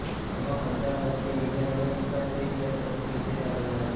જેમાં પપ વર્ષીય Indian American Shri Sheth trophy વિજેતા બન્યા હતાં